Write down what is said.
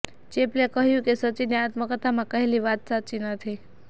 ચેપલે કહ્યું કે સચિને આત્મકથામાં કહેલી વાત સાચી નથી